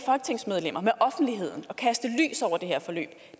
offentligheden og kaste lys over det her forløb